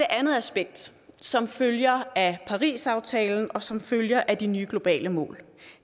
andet aspekt som følger af parisaftalen og som følger af de nye globale mål